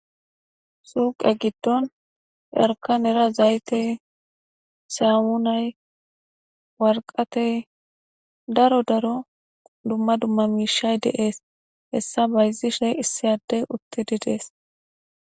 Suuqe giddon jarka nera zayte samunay warqatey daro daro dumma dumma miishay deees hessa bayzishe issiyadey uttidi dees.